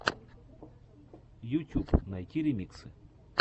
ютюб найти ремиксы